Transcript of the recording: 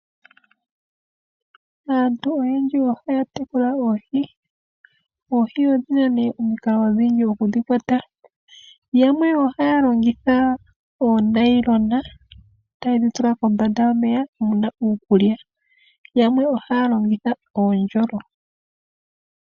Aantu oyendji ohaya tekula oohi. Oohi odhi na nee omikalo odhindji oku dhi kwata, yamwe ohaya longitha onayilona, taye dhi tula kombanda yomeya muna uukulya, yamwe ohaya longitha oondjolo.